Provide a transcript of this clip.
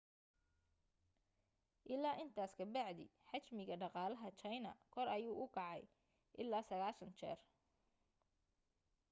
ilaa intaas ka bacdi xajmiga dhaqalaha china kor ayuu kacay ilaa 90 jeer